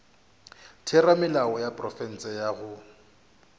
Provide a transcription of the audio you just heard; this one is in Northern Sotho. theramelao ya profense go ya